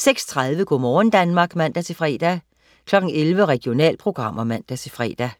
06.30 Go' morgen Danmark (man-fre) 11.00 Regionalprogrammer (man-fre)